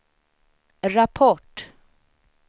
rapport